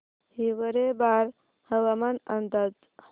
हिवरेबाजार हवामान अंदाज